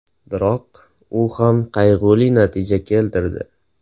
Biroq u ham qayg‘uli natija keltirdi.